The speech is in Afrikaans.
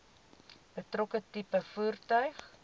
betrokke tipe voertuig